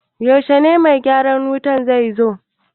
Yaushe mai gyaran wutan zai zo?